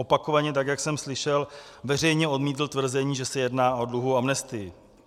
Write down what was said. Opakovaně, tak jak jsem slyšel, veřejně odmítl tvrzení, že se jedná o dluhovou amnestii.